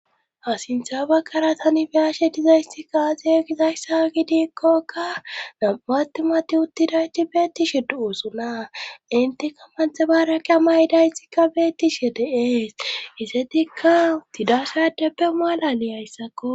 hasintha bakkara tani biyashe dizayssi kaaze gizayssa gidikkokka nam7aattimati uttidayti beettishe du7usunaa intika manthe bareqa maydaytikka beettishe deees isetikka uttidashadeppe maal7ali hayssakko